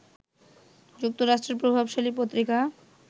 যুক্তরাষ্ট্রের প্রভাবশালী পত্রিকা